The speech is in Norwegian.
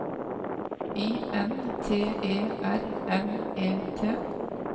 I N T E R N E T